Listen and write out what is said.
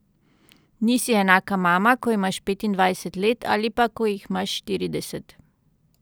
Nisi enaka mama, ko imaš petindvajset let ali pa, ko jih imaš štirideset.